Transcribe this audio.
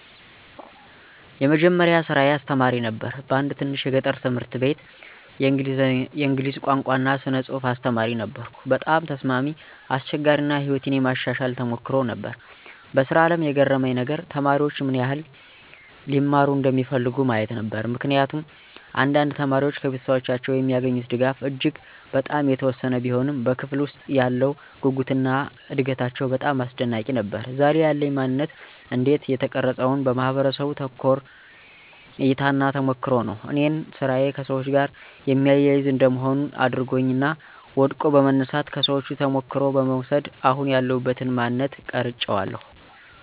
የመጀመሪያ ስራየ አስተማሪ ነበር በአንድ ትንሽ የገጠር ትምህርት አቤት የእንግሊዝ ቋንቋ እና ስነ ፅሐፍ አስተማሪ ነበርኩ። በጣም ተስማሚ፣ አስቸጋሪ አና ሕይወቴን የማሻሻል ተሞክሮ ነበር። በስራ አለም የገረመኝ ነገር?፦ተማሪዎች ምን ይህል (ሊማሩ) እንደሚፈልጉ ማየት ነበር። ምክንያቱም አንዳንድ ተማሪዎች ከቤተሰቦቻቸው የሚገኙት ድጋፍ እጂግ በጣም የተወሰነ ቢሆንም በክፍለ ውስጥ ያለው ጉጉትና እደጋታቸው በጣም አስደናቂ ነበር። ዛሬ ያለኝ ማነንት እንዴት ተቀረፀውን? በማህበረሰቡ ተኮር እይታና ተሞክሮ ነው እኔን ስራዬ ከሰዎች ጋር የሚያያዝ እንደ መሆን አድርጓኛል እና ወድቆ በመነሳት፣ ከሰዎቹ ተሞክሮ በመውስድ አሁን ያለውበትን ማንነት ቀራጨዋለሁ።